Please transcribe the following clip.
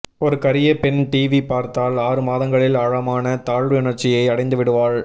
ஒரு கரிய பெண் டிவி பார்த்தால் ஆறுமாதங்களில் ஆழமான தாழ்வுணர்ச்சியை அடைந்துவிடுவாள்